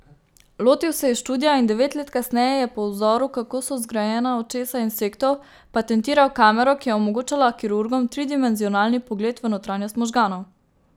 Lotil se je študija in devet let kasneje je po vzoru, kako so zgrajena očesa insektov, patentiral kamero, ki je omogočala kirurgom tridimenzionalni pogled v notranjost možganov.